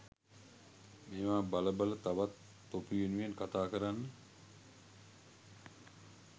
මේවා බල බල තවත් තොපි වෙනුවෙන් කතා කරන්න